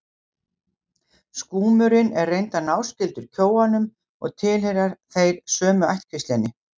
Skúmurinn er reyndar náskyldur kjóanum og tilheyra þeir sömu ættkvíslinni.